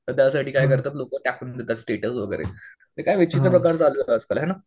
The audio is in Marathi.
तर त्यासाठी काय करतात लोकं टाकतात स्टेटस वगैरे. नाही काय माहिती काय विचित्र प्रकार चालू आहे आजकाल हाय ना.